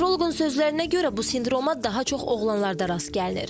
Nevroloqun sözlərinə görə bu sindroma daha çox oğlanlarda rast gəlinir.